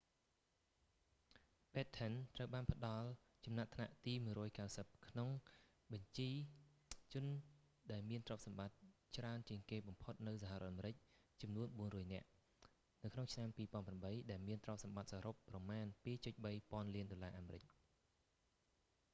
batten ត្រូវបានផ្ដល់ចំណាត់ថ្នាក់ទី190 នៅក្នុងបញ្ជីជនដែលមានទ្រព្យសម្បត្តិច្រើនជាងគេបំផុតនៅសហរដ្ឋអាមេរិកចំនួន 400 នាក់ នៅក្នុងឆ្នាំ 2008 ដែលមានទ្រព្យសម្បត្តិសរុបប្រមាណ 2.3 ពាន់លានដុល្លារអាមេរិក